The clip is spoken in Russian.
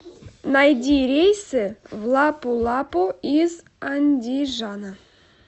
найди рейсы в лапу лапу из андижана